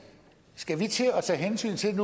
skal vi nu til at tage hensyn til